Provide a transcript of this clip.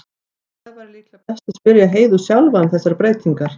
Það væri líklega best að spyrja Heiðu sjálfa um þessar breytingar.